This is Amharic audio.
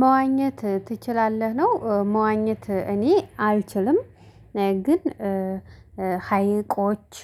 መዋኘት ትችላለህ ነው? መዋኘት እኔ አልችልም። ግን ሀይቆች